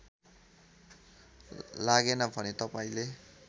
लागेन भने तपाईँले